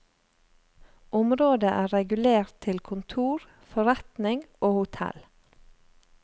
Området er regulert til kontor, forretning og hotell.